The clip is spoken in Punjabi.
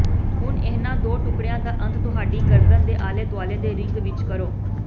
ਹੁਣ ਇਹਨਾਂ ਦੋ ਟੁਕੜਿਆਂ ਦਾ ਅੰਤ ਤੁਹਾਡੀ ਗਰਦਨ ਦੇ ਆਲੇ ਦੁਆਲੇ ਦੇ ਰਿੰਗ ਵਿੱਚ ਕਰੋ